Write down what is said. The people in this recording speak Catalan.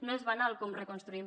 no és banal com reconstruïm